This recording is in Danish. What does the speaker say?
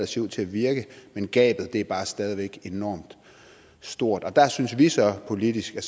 ser ud til at virke men gabet er bare stadig væk enorm stort der synes vi så politisk at